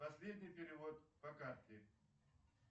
последний перевод по карте